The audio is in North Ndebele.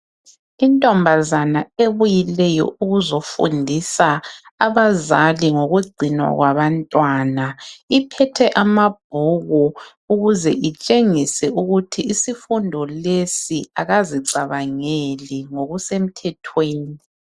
Intombazana ebuyileyo ukuzofundisa abazali ngokugcinwa kwabantwana iphethe amabhuku ukuze itshengise ukuthi isifundo lesi akazicabangeli, ngokusemthethweni.